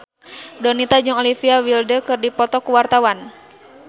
Donita jeung Olivia Wilde keur dipoto ku wartawan